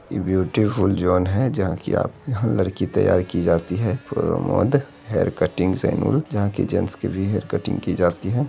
इ beautiful zone है जहां कि आप यहां लड़की तैयार की जाती है प्रमोद हेयर कटिंग सैलून जहां की जेंट्स की भी हेयर कटिंग की जाती है।